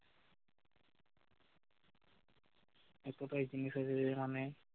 এই কটাই জিনিস আছে যেখানে